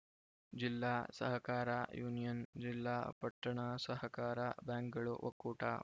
ಜಿಲ್ಲಾ ಸಹಕಾರ ಯೂನಿಯನ್‌ ಜಿಲ್ಲಾ ಪಟ್ಟಣ ಸಹಕಾರ ಬ್ಯಾಂಕ್‌ಗಳು ಒಕ್ಕೂಟ